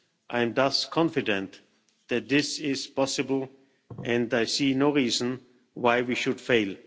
I am thus confident that this is possible and I see no reason why we should fail.